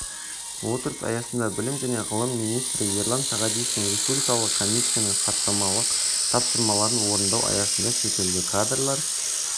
отырыс аясында білім және ғылым министрі ерлан сағадиевтің республикалық комиссияның хаттамалық тапсырмаларын орындау аясында шетелде кадрлар